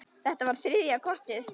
Þetta var þriðja kortið.